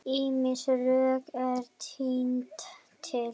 Ýmis rök eru tínd til.